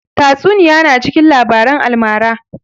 Tatsuniya na cikin labaran almara